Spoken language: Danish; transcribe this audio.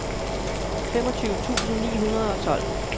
femogtyve tusind ni hundrede og tolv